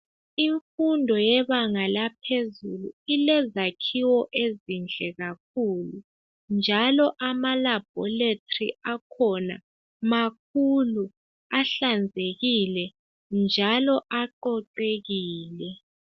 Imfundo yebanga laphezulu ilezakhiwo ezinhle kakhulu njalo ama laboratory akhona makhulu ahlanzekile njalo aqoqekile.